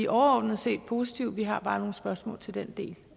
overordnet set positive vi har bare nogle spørgsmål til den del